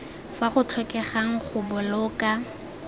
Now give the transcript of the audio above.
fa go tlhokegang go boloka